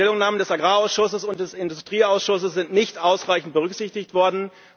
Die Stellungnahmen des Agrarausschusses und des Industrieausschusses sind nicht ausreichend berücksichtigt worden.